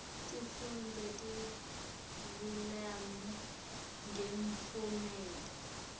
tifundvo tekharikhulamu ngemphumelelo